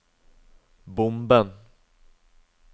bomben